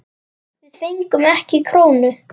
Við fengum ekki krónu.